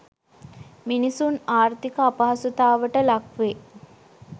මිනිසුන් ආර්ථික අපහසුතාවට ලක් වේ.